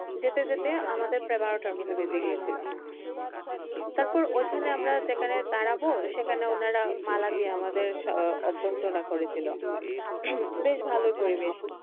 যেতে যেতে আমাদের এগারোটার মতো বেজে গিয়েছিল। তারপর ঐখানে আমরা যেখানে দাঁড়াবো সেখানে ওনারা মালা দিয়ে আমাদের অভ্যর্থনা করেছিল। বেশ ভালো পরিবেশ।